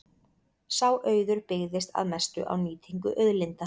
Sá auður byggðist að mestu á nýtingu auðlinda.